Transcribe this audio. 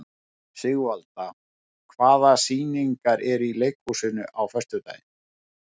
Sigvalda, hvaða sýningar eru í leikhúsinu á föstudaginn?